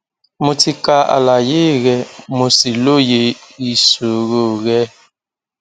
mo ti ka àlàyé rẹ mo sì lóye ìṣòro rẹ